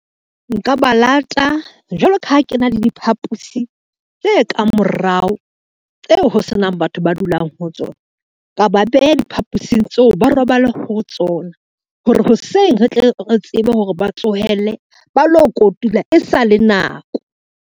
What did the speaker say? Nka ba lata jwalo ka ha ke na le diphapusi tse kang morao, tseo ho senang batho ba dulang ho tsona, ka ba beha diphapusing tseo, ba robale ho tsona hore hoseng re tle re tsebe hore ba tsohelle ba lo kotula e sale nako.